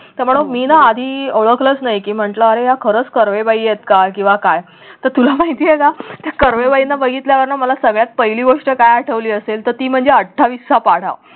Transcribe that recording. तर मी न आधी ओळखलंच नाही की म्हटलं अरे या खरच कर्वे बाई आहेत का किंवा काय तर तुला माहिती आहे का त्या कर्वे बाईंना बघितल्यावरना मला सगळ्यात पहिली गोष्ट काय आठवली असेल? तर ती म्हणजे अठ्ठावीस चा पाढा